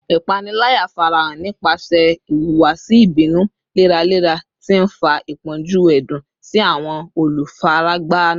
Ipanilaya farahan nipasẹ ihuwasi ibinu leralera, ti nfa ipọnju ẹdun si awọn olufaragba naa